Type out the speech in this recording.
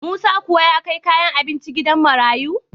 Musa kuwa ya kai kayan abincin gidan marayu?